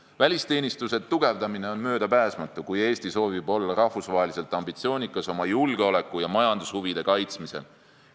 Välisteenistuse tugevdamine on möödapääsmatu, kui Eesti soovib olla rahvusvaheliselt ambitsioonikas oma julgeoleku- ja majandushuvide kaitsmisel.